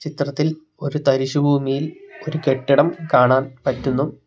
ചിത്രത്തിൽ ഒരു തരിശുഭൂമിയിൽ ഒരു കെട്ടിടം കാണാൻ പറ്റുന്നു.